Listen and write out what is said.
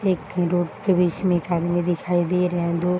एक रोड के बीच में एक आदमी दिखाई दे रहे है। दो --